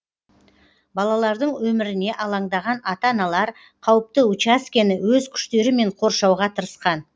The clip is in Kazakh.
балалардың өміріне алаңдаған ата аналар қауіпті учаскені өз күштерімен қоршауға тырысқан